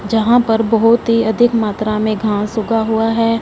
जहां पर बहोत ही अधिक मात्रा में घास उगा हुआ है।